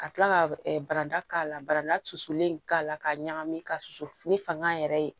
Ka tila ka bara da la baranda susulen k'a la k'a ɲagami ka susu ni fanga yɛrɛ ye